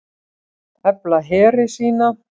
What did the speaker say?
Efla heri sína